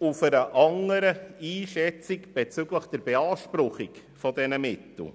aufgrund einer anderen Einschätzung der Beanspruchung dieser Mittel.